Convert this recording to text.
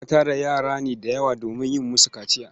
Ana tara yara ne da yawa domin yin musu kaciya.